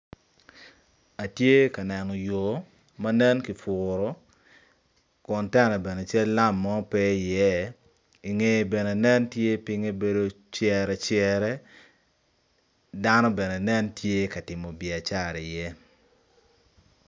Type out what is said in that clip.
Atye ka neno yo ma kipuro kun teno bene cal lam mo pe iye i ngeye bene pinye nen cerecere cano bene nen tye ka tim biacara iye.